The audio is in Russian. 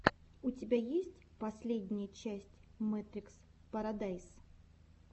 у тебя есть последняя часть мэтрикс парадайс